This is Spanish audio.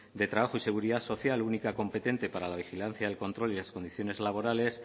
de trabajo y de seguridad social única competente para la vigilancia del control y las condiciones laborales